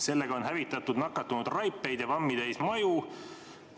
Sellega on hävitatud nakatunud raipeid ja vammi täis maju.